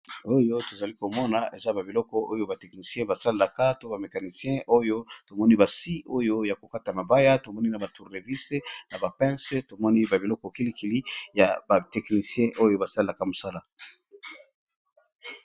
oyo tozali komona eza ba biloko oyo bateknisien basalelaka to bamekanisien oyo tomoni basi oyo ya kokata mabaya tomoni na batourrevise na bapense tomoni ba biloko kilikili ya bateknisien oyo basalelaka mosala